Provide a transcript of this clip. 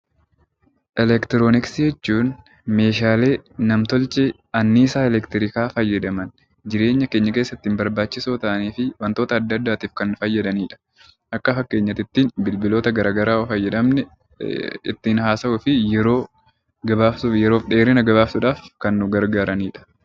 Eleektirooniksii jechuun Meeshaalee nam-tolchee anniisaa eleektiriikaa fayyadaman jireenya keenya keessatti barbaachisoo ta'anii fi waantota addaa addaa kan fayyadamudha. Akka fakkeenyaatti bilbiloota garaagaraa yoo fayyadamne ittiin haasawuu fi yeroo dheerina yeroo gabaabsuuf kan nu gargaaranidha.